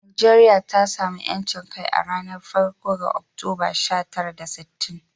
Najeriya ta sami 'yancin kai a ranar farko ga Oktoba, sha tara da sittin.